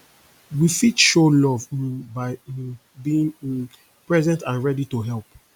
we fit show love um by um being um present and ready to help